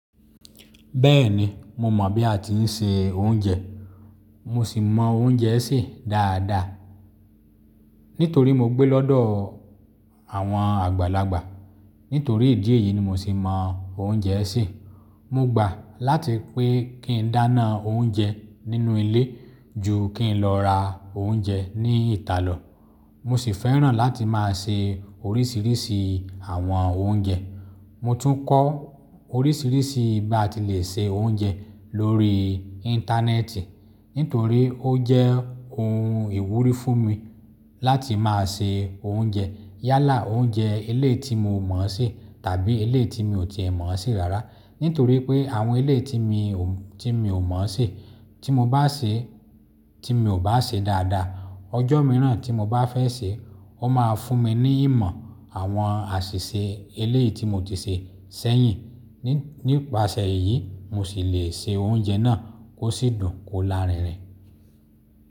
Bẹ́ẹ̀ni, mo mọ̀ bí a ti ń se oúnjẹ. Mo sì mọ oúnjẹ sè dáadáa. Nítorí mo gbé lọ́dọ̀ àwọn àgbàlagbà. Nítorí ìdí èyí ni mo sì mọ oúnjẹ sè. Mo gbà láti pé kí n dáná oúnjẹ nínú ilé ju kí n lọ ra oúnjẹ ní ìta lọ. Mo sì fẹ́ràn láti máa se oríṣìíríṣìí àwọn oúnjẹ. Mo tún kọ́ oríṣìíríṣìí bí a ti lè se oúnjẹ lórí Íńtánẹ́ẹ̀tì. Nítorí ó jẹ́ ohun ìwúrí fún mi láti máa se oúnjẹ. Yálà oúnjẹ eléyìí tí mo mọ̀ sè tàbí eléyìí tí mi ò ti ẹ̀ mọ̀ ọ́ sè rárá. Nítorí pé àwọn eléyìí tí mi ò mọ̀ ọ́ sè, tí mo bá sè, tí mi ò bá sè é dáadáa, ọjọ́ mìíràn tí mo bá fẹ́ sè é, ó máa fún mi ní ìmọ̀ àwọn àṣìṣe eléyìí tí mo ti sè sẹ́yìn. Nípasẹ̀ èyí mo sì le se oúnjẹ náà kó sì dùn kó lárinrin.